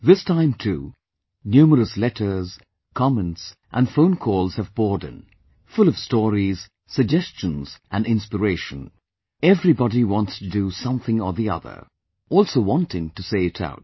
This time too, numerous letters, comments & phone calls have poured in full of stories, suggestions & inspiration everybody wants to do something or the other; also wanting to say it out